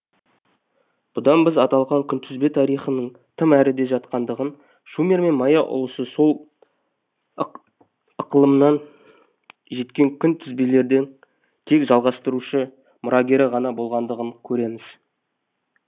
бұдан біз аталған күнтізбе тарихының тым әріде жатқандығын шумер мен майя ұлысы сол ықылымнан жеткен күнтізбелерден тек жалғастырушы мұрагері ғана болғандығын көреміз